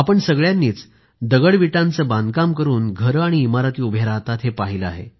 आपण सगळ्यांनीच दगडाविटांचे बांधकाम करून घरे आणि इमारती उभ्या राहतात हे पाहिले आहे